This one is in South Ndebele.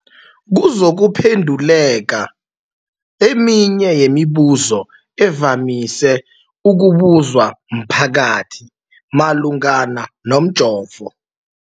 kuzokuphe nduleka eminye yemibu zo evamise ukubuzwa mphakathi malungana nomjovo.